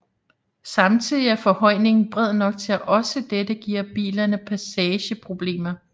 Samtidigt er forhøjningen bred nok til at også dette giver bilerne passageproblemer